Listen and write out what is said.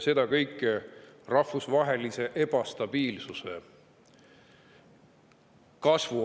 See kõik toimub ajal, mil kasvab rahvusvaheline ebastabiilsus.